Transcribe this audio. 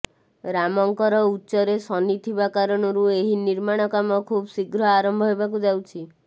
ରାମଙ୍କର ଉଚ୍ଚରେ ଶନିଥିବା କାରଣରୁ ଏହି ନିର୍ମାଣ କାମ ଖୁବ୍ ଶ୍ରୀଘ୍ର ଆରମ୍ଭ ହେବାକୁ ଯାଉଛି